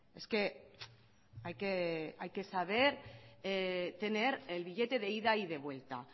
es que hay que saber tener el billete de ida y de vuelta